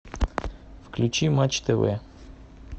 включи матч тв